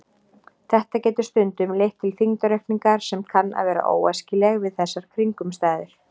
Þetta getur stundum leitt til þyngdaraukningar sem kann að vera óæskileg við þessar kringumstæður.